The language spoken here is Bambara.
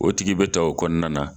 O tigi bɛ ta o kɔnɔna na